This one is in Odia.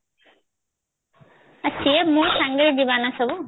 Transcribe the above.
ସେ ମୋ ସାଙ୍ଗରେ ଯିବ ନା ସବୁ